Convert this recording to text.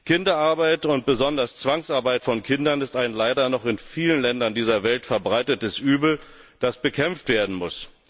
Kinderarbeit und besonders Zwangsarbeit von Kindern ist ein leider noch in vielen Ländern dieser Welt verbreitetes Übel, das bekämpft werden muss.